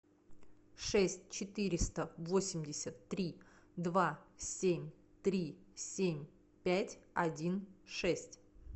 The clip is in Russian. шесть четыреста восемьдесят три два семь три семь пять один шесть